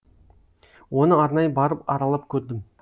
оны арнайы барып аралап көрдім